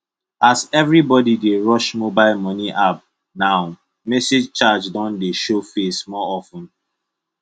as everybody dey rush mobile money app now message charge don dey show face more of ten